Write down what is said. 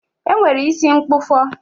E nwere isi mkpụfọ